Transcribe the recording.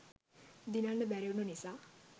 දිනන්න බැරිවුනු නිසා